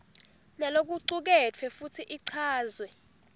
nalokucuketfwe futsi ichazwe